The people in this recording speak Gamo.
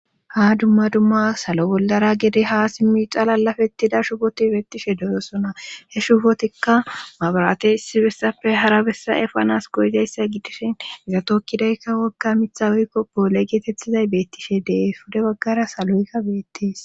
ha dumma dumma salo bollara gede ha simmi xalalafettida shufoti beettishe deyosona he shufotikka mabarate issi bessappe hara bessa efanas goyidayssa gidishin izatokkidaykka wokka mitha woykko boole geetettizay beettishe dee fude baggara saloykka beettees